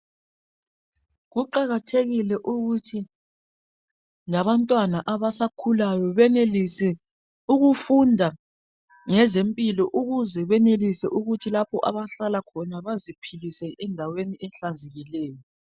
kuqakathekile ukuthi labantwana abasakhulayo benelise ukufunda ngezempilo ukuze benelise ukuthi lapho abahlala khona baziphilise endaweni ehlanzekileyo